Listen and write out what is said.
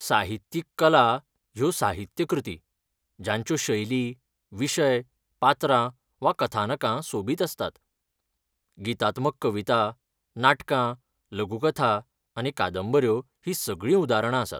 साहित्यीक कला ह्यो साहित्य कृती जांच्यो शैली, विशय, पात्रां वा कथानकां सोबीत आसतात. गीतात्मक कविता, नाटकां, लघुकथा आनी कादंबऱ्यो हीं सगळीं उदारणां आसात.